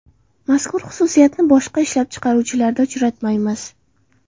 Mazkur xususiyatni boshqa ishlab chiqaruvchilarda uchratmaymiz.